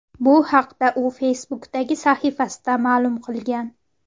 Bu haqda u Facebook’dagi sahifasida ma’lum qilgan.